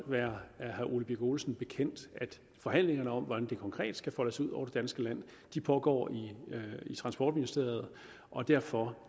være herre ole birk olesen bekendt at forhandlingerne om hvordan det konkret skal foldes ud over det danske land pågår i transportministeriet og derfor